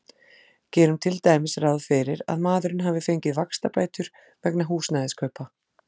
Gerum til dæmis ráð fyrir að maðurinn hafi fengið vaxtabætur vegna húsnæðiskaupa.